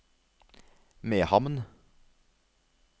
Mehamn